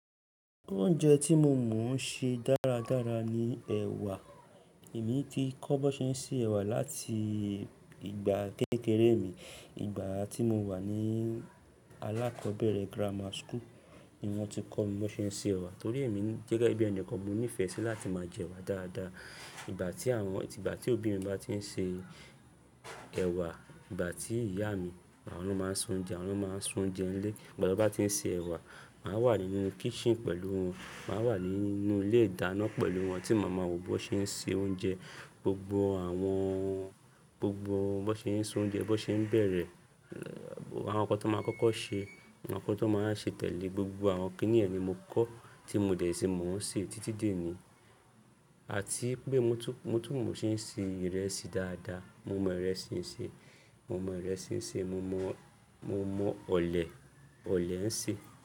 Oúnjẹ tí mo mọ̀ n ṣe dáradára ni ẹ̀wà. Èmi ti kọ́ bón ṣe ń se ẹ̀wà láti ìgbà kékeré mi. Ìgbà tí mo wà ní alákọ̀ọ́bẹ̀rẹ̀ grammar school ni wọ́n ti kọ́ mi bón ṣe ń se ẹ̀wà torí èmi gẹ́gẹ́ bí ẹnikan mo nífẹ̀ẹ́ sí láti máa jẹwà dáadáa. Ìgbà tí àwọn-- ìgbà tí òbí mi bá ti ń se ẹ̀wà, ìgbà tí ìyá mi àwọn ló máa ń soúnjẹ nílé. Ìgbà ton bá ti ń se ẹ̀wà, màá wà nínú kitchen pẹ̀lú wọn, màá wà nínú ilé ìdáná pẹ̀lú wọn tí màá ma wo bón ṣe ń se oúnjẹ. Gbogbo àwọn, gbogbo bón ṣe ń soúnjẹ, bón ṣe ń bẹ̀rẹ̀, àwọn ǹkan tón máa ń kọ́kọ́ ṣe, àwọn ǹkan tón máa wa ṣe tẹ̀lé, gbogbo àwọn kíní yẹ̀n ni mo kọ́ tí mo dẹ̀ sí mo n se títí déní. Àti wipé mo tún, mo tún mọ̀ ọ́n ṣe ń ṣe ìrẹsì dáadáa. Mo mọ ìrẹsì ń se, mo mọ ìrẹsì ń se, mo mọ, mo mọ ọ̀lẹ̀, ọ̀lẹ̀ ń se.